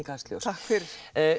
takk fyrir